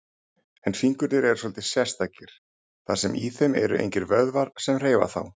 En fingurnir eru svolítið sérstakir, þar sem í þeim eru engir vöðvar sem hreyfa þá.